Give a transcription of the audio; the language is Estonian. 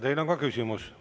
Teile on ka küsimus.